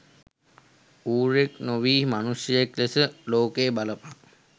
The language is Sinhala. ඌරෙක් නොවී මනුශ්‍යයෙක් ලෙස ලෝකය බලපන්